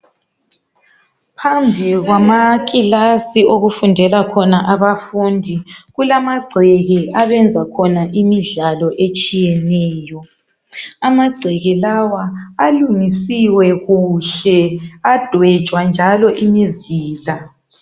Phambi kwamakilasi okufundela khona abafundi kulamagceke abayenzela khona imidlalo etshiyeneyo , amagceke lawa alungisiwe adwetshwa njalo imizila.